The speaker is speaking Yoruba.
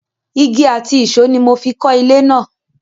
Igi àti ìṣó ni mo fi kọ́ ilé náà.